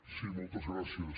sí moltes gràcies